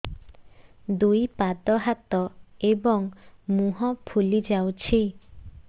ଦୁଇ ପାଦ ହାତ ଏବଂ ମୁହଁ ଫୁଲି ଯାଉଛି